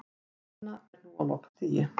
Sú vinna er nú á lokastigi